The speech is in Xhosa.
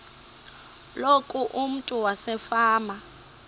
loku umntu wasefama